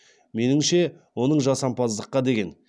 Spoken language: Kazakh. меніңше оның жасампаздыққа деген